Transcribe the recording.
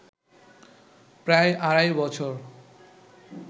প্রায় আড়াই বছর